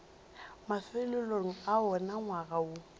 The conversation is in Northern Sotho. mafelelong a wona ngwaga woo